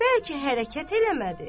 Bəlkə hərəkət eləmədi.